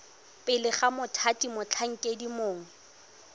pele ga mothati motlhankedi mongwe